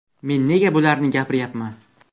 Men nega bularni gapiryapman.